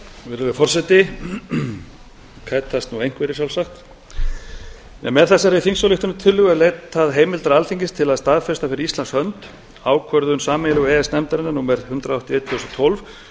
virðulegi forseti kætast nú einhverjir sjálfsagt en með þessari þingsályktunartillögu er leitað heimildar alþingis til að staðfesta fyrir íslands hönd ákvörðun sameiginlegu e e s nefndarinnar númer hundrað áttatíu og eitt tvö þúsund og tólf